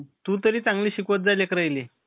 तु तरी चांगलं शिकवत जाय लेकरायले.